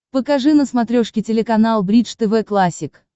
покажи на смотрешке телеканал бридж тв классик